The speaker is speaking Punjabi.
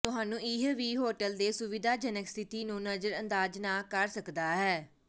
ਤੁਹਾਨੂੰ ਇਹ ਵੀ ਹੋਟਲ ਦੇ ਸੁਵਿਧਾਜਨਕ ਸਥਿਤੀ ਨੂੰ ਨਜ਼ਰਅੰਦਾਜ਼ ਨਾ ਕਰ ਸਕਦਾ ਹੈ